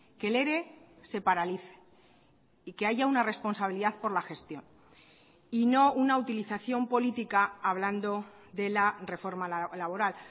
que el ere se paralice y que haya una responsabilidad por la gestión y no una utilización política hablando de la reforma laboral